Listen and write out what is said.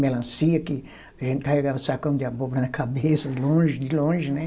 Melancia, que a gente carregava sacão de abóbora na cabeça, longe, de longe, né?